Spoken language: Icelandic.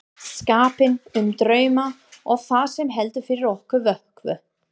skapinn, um drauma og það sem heldur fyrir okkur vöku.